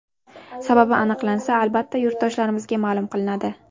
Sababi aniqlansa, albatta yurtdoshlarimizga ma’lum qilinadi.